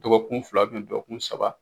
Dɔgɔkun fila kun dɔgɔkun saba